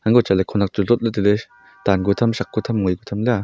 anko chatle khonak chu dot le taile tan ku tham shak ku tham le a.